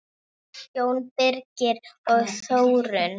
Jón Birgir og Þórunn.